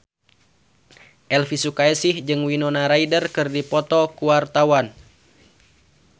Elvy Sukaesih jeung Winona Ryder keur dipoto ku wartawan